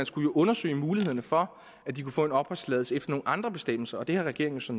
skulle undersøge mulighederne for at de kunne få en opholdstilladelse efter nogle andre bestemmelser og det har regeringen så